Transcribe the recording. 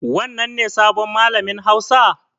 Wannan ne sabon malamin hausa?